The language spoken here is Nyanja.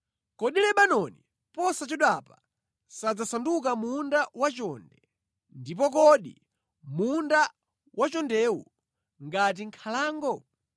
Kodi Lebanoni posachedwapa sadzasanduka munda wachonde, ndipo kodi munda wachondewo ngati nkhalango?